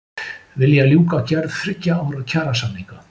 Vilja ljúka gerð þriggja ára kjarasamninga